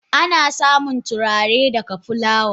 Ana samun turare daga fulawa.